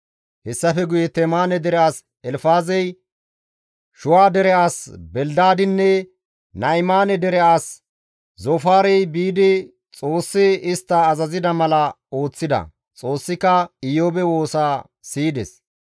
Hessafe guye Temaane dere as Elfaazey, Shuha dere as Belidaadinne Na7imaane dere as Zoofaarey biidi Xoossi istta azazida mala ooththida. Xoossika Iyoobe woosa siyides.